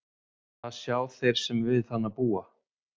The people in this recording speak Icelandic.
Það sjá þeir sem við hana búa.